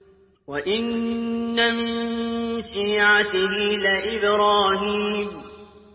۞ وَإِنَّ مِن شِيعَتِهِ لَإِبْرَاهِيمَ